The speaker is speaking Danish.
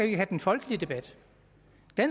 ikke have den folkelige debat